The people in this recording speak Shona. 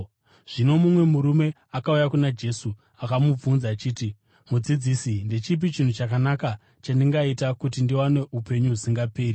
Zvino mumwe murume akauya kuna Jesu akamubvunza achiti, “Mudzidzisi, ndechipi chinhu chakanaka chandingaita kuti ndiwane upenyu husingaperi?”